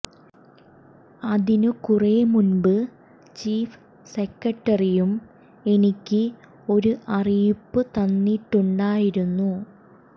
അതിനു കുറെ മുമ്പ് ചീഫ് സെക്രട്ടറിയും എനിക്ക് ഒരു അറിയിപ്പ് തന്നിട്ടുണ്ടായിരുന്നു